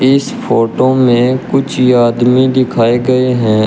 इस फोटो में कुछ आदमी दिखाए गए हैं।